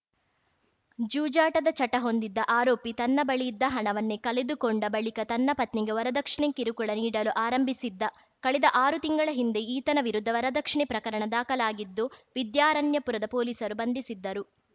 ಜೂಜಾಟದ ಚಟ ಹೊಂದಿದ್ದ ಆರೋಪಿ ತನ್ನ ಬಳಿಯಿದ್ದ ಹಣವನ್ನೇ ಕಳೆದುಕೊಂಡ ಬಳಿಕ ತನ್ನ ಪತ್ನಿಗೆ ವರದಕ್ಷಿಣೆ ಕಿರುಕುಳ ನೀಡಲು ಆರಂಭಿಸಿದ್ದ ಕಳೆದ ಆರು ತಿಂಗಳ ಹಿಂದೆ ಈತನ ವಿರುದ್ಧ ವರದಕ್ಷಿಣೆ ಪ್ರಕರಣ ದಾಖಲಾಗಿದ್ದು ವಿದ್ಯಾರಣ್ಯಪುರದ ಪೊಲೀಸರು ಬಂಧಿಸಿದ್ದರು